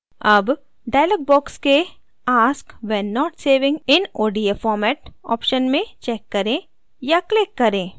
अब dialog box के ask when not saving in odf format option में check करें या क्लिक करें